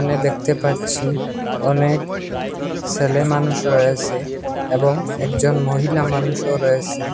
দেখতে পাচ্ছি অনেক ছেলে মানুষ রয়েসে এবং একজন মহিলা মানুষও রয়েসে ।